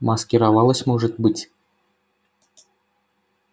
маскировалась может быть